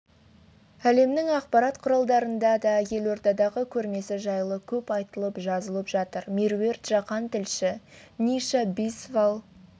әлемнің ақпарат құралдарында да елордадағы көрмесі жайлы көп айтылып жазылып жатыр меруерт жақан тілші ниша бисвалл